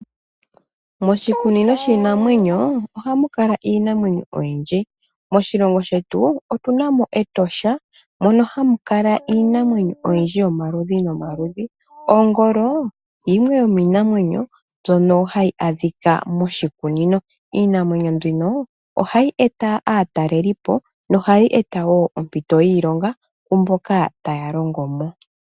Moshikunino shinamwenyo ohamukala Iinamwenyo oyindji , moshilongo shetu otunami Etosha mono hamulala Iinamwenyo oyindji yomaludhi nomaludhi, Ogoolo yimwe yinamwenyo mbyono hayi adhika moshikunino, Iinamwenyo mbino ohayi eta atalelipo nohayi eta wo ompito yiilonga kwamboka taya longomo.